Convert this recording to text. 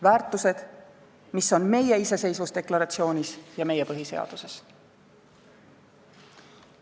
Väärtused, mis on meie iseseisvusdeklaratsioonis ja meie põhiseaduses.